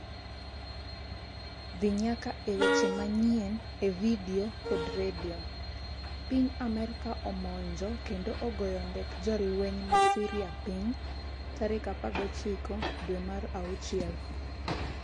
dhi nyaka e weche manyien e vidio kod redio piny Amerka omonjo kendo ogoyo ndek jolweny ma Syria piny tarik 19 dwe mar 6